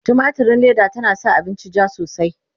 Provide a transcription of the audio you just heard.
tumatirin Leda tana sa abinci jaa sosai